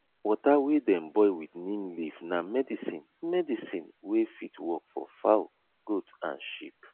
water wey dem boil with neem leaf na medicine medicine wey fit work for fowl goat and sheep